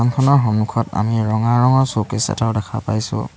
দোকানখনৰ সন্মুখত আমি ৰঙা ৰঙৰ চ'কেছ এটাও দেখা পাইছোঁ।